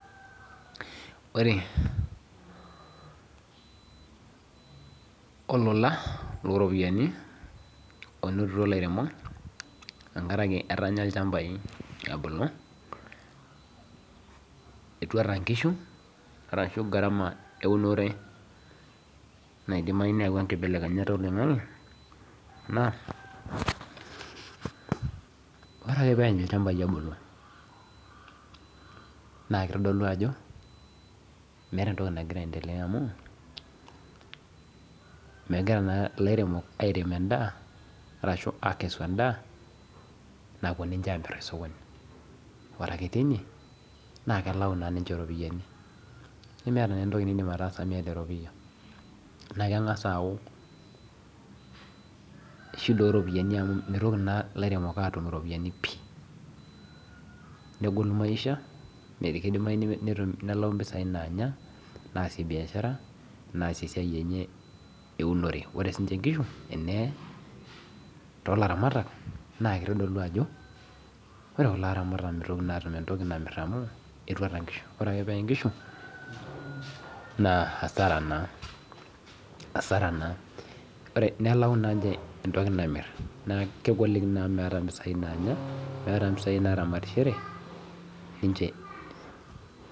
Ore olola looropiani onotito ilairemok tengarake etanya ilchambai ebulu etuata nkishu arashu  garama eunore naidimayu neawua nkibelekenyat oloing'ang'e naa ore ake peany ilchambai ebulu naakeitodolu ajo meata entoki nagira aendelea amu megira naa ilairemok airem endaa arashu akesu endaa napuo ninche amirr tesokoni. Ore ake teine naakelau naa ninche iropiyani. Nemeata neentoki nindim ataasa miyata eropiya. Naakeng'as aau shida oropiyani amu meitoki naa ilairemok aatum iropiyani pii, negolu maisha neikeidimayi netum nelayi mpisai naanya, naasie biashara, naasie esiai enye eunore. Ore siinche nkishu eneye toolaramatak naakeitodolu ajo ore kulo aramatak meitoki naatum entoki namirr amu etuata nkishu, ore ake peye nkishu naa hasara naa,  hasara naa. Ore nelau naa ninche entoki namirr naa kegoliki naa meata mpisai naanya , meata mpisai naaramatishore ninche.